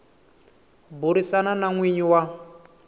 burisana na n winyi wa